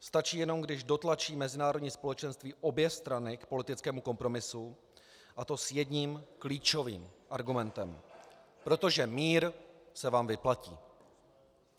Stačí jenom, když dotlačí mezinárodní společenství obě strany k politickému kompromisu, a to s jedním klíčovým argumentem: protože mír se vám vyplatí.